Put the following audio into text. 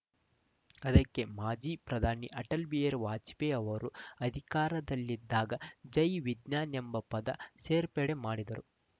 ಅದಕ್ಕೆ ಮಾಜಿ ಪ್ರಧಾನಿ ಅಟಲ್‌ ಬಿಹಾರಿ ವಾಜಪೇಯಿ ಅವರು ಅಧಿಕಾರದಲ್ಲಿದ್ದಾಗ ಜೈ ವಿಜ್ಞಾನ್‌ ಎಂಬ ಪದ ಸೇರ್ಪಡೆ ಮಾಡಿದ್ದರು